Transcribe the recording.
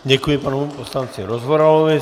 Děkuji panu poslanci Rozvoralovi.